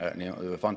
Mida me selleks vajame?